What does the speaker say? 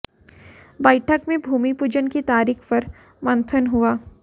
बैठक में भूमि पूजन की तारीख पर मंथन हुआ